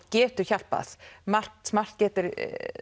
getur hjálpað margt smátt gerir